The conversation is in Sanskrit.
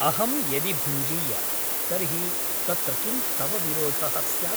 अहं यदि भुञ्जीय तर्हि तत्र किं तव विरोधः स्यात् ?